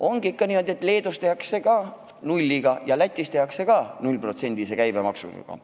On ikkagi niimoodi, et Leedus on need teenused maksustatud 0%-lise käbemaksuga ja Lätis samuti.